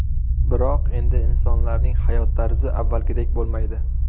Biroq endi insonlarning hayot tarzi avvalgidek bo‘lmaydi.